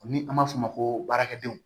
Ni an b'a f'o ma ko baarakɛdenw